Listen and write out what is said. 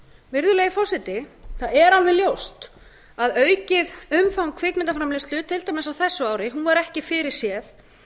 virðulegi forseti það er alveg ljóst að aukið umfang kvikmyndaframleiðslu til dæmis á þessu ári var ekki fyrir séð